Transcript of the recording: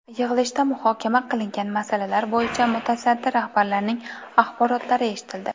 Yig‘ilishda muhokama qilingan masalalar bo‘yicha mutasaddi rahbarlarning axborotlari eshitildi.